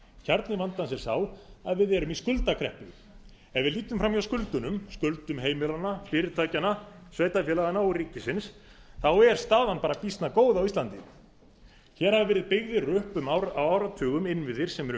kjarni vandans er sá að við erum í skuldakreppu ef við lítum fram hjá skuldunum skuldum heimilanna fyrirtækjanna sveitarfélaganna og ríkisins er staðan býsna góð á íslandi hér hafa verið byggðir upp á áratugum innviðir sem eru